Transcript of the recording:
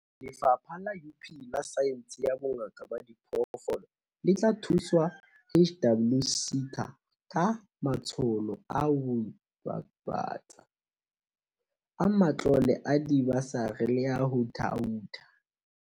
Lefapha la UP la Saense ya Bongaka ba Diphoofolo le tla thusa HWSETA ka matsholo a ho ibapatsa, a matlole a dibasari le a ho thaotha.